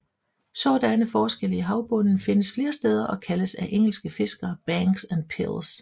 Sådanne forskelle i havbunden findes flere steder og kaldes af engelske fiskere banks og pils